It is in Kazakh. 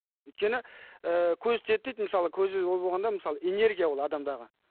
өйткені ы көз тиеді дейді мысалы көз ол болғанда мысалы энергия ол адамдағы